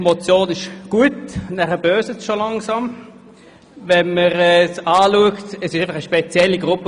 Schlussendlich geht es darum, die Steuern für diejenigen zu senken, die gut oder zumindest besser betucht sind.